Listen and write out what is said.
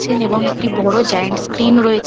ছেন এবং একটি বড় জায়েন্ট স্ক্রীন রয়ে --